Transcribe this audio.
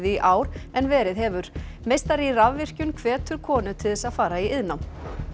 í ár en verið hefur meistari í rafvirkjun hvetur konur til þess að fara í iðnnám